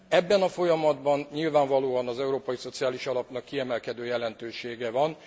Ebben a folyamatban nyilvánvalóan az Európai Szociális Alapnak kiemelkedő jelentősége van.